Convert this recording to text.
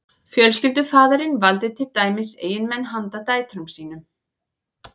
fjölskyldufaðirinn valdi til dæmis eiginmenn handa dætrum sínum